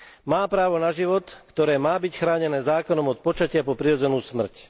Má právo na život, ktoré má byť chránené zákonom od počatia po prirodzenú smrť.